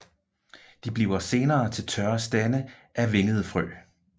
De bliver senere til tørre stande af vingede frø